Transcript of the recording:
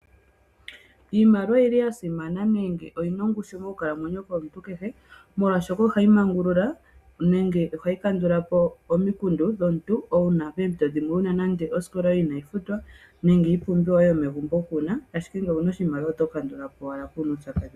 Iimaliwa oyi li ya simana nenge oyi na ongushu mokukalamwenyo komuntu kehe, molwaashoka ohayi mangulula nenge ohayi kandul apo omikundu dhomuntu. Uuna poompito dhimwe wuna nande osikola yoye inayi futwa, nenge iipumbiwa yoye yomegumbo kuuna, ashike ngele owuna oshimaliwa oto kandula po owala kuuna uupyakadhi.